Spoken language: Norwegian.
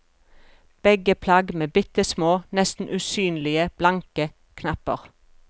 Begge plagg med bitte små, nesten usynlige, blanke knapper.